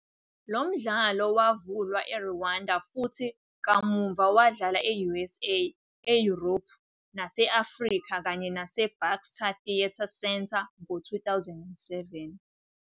Lo mdlalo wavulwa eRwanda futhi kamuva wadlala e-US, eYurophu nase-Afrika kanye naseBaxter Theatre Centre ngo-2007.